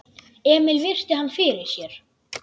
Emil virti hann fyrir sér.